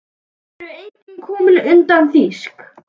Skip eru engin komin utan þýsk.